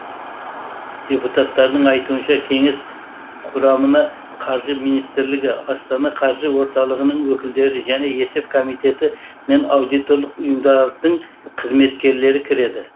депутаттардың айтуынша кеңес құрамына қаржы министрлігі астана қаржы орталығының өкілдері және есеп комитеті мен аудиторлық ұйымдардың қызметкерлері кіреді